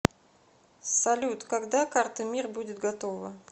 салют когда карта мир будет готова